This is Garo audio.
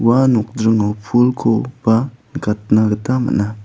ua nokjringo pulko ba nikatna gita man·a.